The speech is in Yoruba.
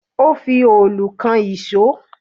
Ó fi òòlù kan ìṣọ́